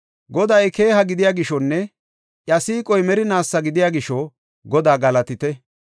Goday keeha gidiya gishonne iya siiqoy merinaasa gidiya gisho, Godaa galatite.